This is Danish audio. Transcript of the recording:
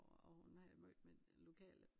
Og hun havde et møde med det lokale